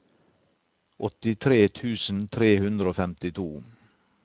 åttitre tusen tre hundre og femtito